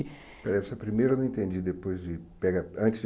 Espera aí, essa primeira eu não entendi, depois de pega antes de